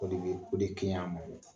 o de bɛ kɛ ɲi a ma.